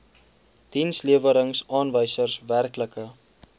dienslewerings aanwysers werklike